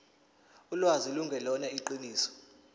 ulwazi lungelona iqiniso